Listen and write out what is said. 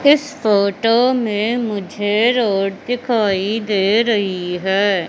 इस फोटो में मुझे रोड दिखाई दे रही है।